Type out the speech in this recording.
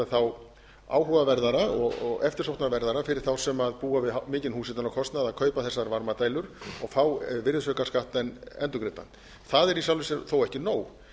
þá áhugaverðara og eftirsóknarverðara fyrir þá sem búa við mikinn húshitunarkostnað að kaupa þessar varmadælur og fá virðisaukaskattinn endurgreiddan það er í sjálfu sér þó ekki nóg